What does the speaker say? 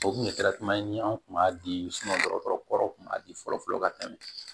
O kun ye ni anw kun b'a di dɔgɔtɔrɔw kun b'a di fɔlɔ fɔlɔ ka tɛmɛ